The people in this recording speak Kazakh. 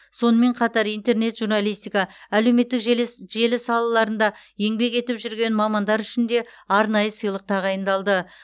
сонымен қатар интернет журналистика әлеуметтік желі салаларында еңбек етіп жүрген мамандар үшін де арнайы сыйлық тағайындалды